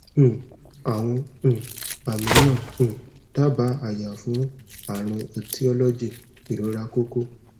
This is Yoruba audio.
um awon um ami na um daaba aya fun arun etiology irora koko